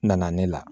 Nana ne la